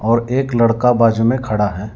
और एक लड़का बाजू मे खड़ा है।